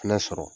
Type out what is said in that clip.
Fɛnɛ sɔrɔ